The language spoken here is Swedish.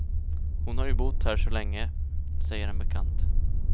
Hon har ju bott här så länge, säger en bekant.